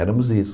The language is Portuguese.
Éramos isso.